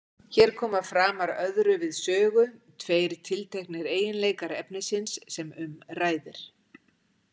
Hér koma framar öðru við sögu tveir tilteknir eiginleikar efnisins sem um ræðir.